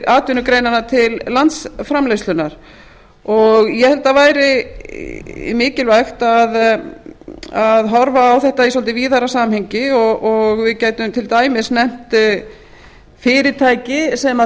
atvinnugreinanna til landsframleiðslunnar ég held að það væri mikilvægt að horfa á þetta í svolítið víðara samhengi og við gætum til dæmis nefnt fyrirtæki sem